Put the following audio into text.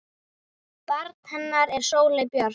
Barn hennar er Sóley Björk.